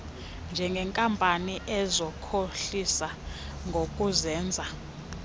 ngeenkampani ezikhohlisa ngokuzenza